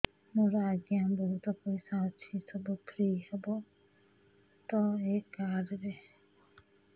ମୋର ଆଜ୍ଞା ବହୁତ ପଇସା ଅଛି ସବୁ ଫ୍ରି ହବ ତ ଏ କାର୍ଡ ରେ